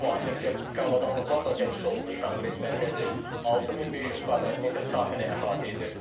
Müasir texniki avadanlıqlarla təchiz olunmuş konqres mərkəzi 6500 kvadrat metr sahəni əhatə edir.